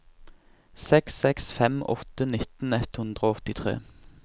seks seks fem åtte nittien ett hundre og åttitre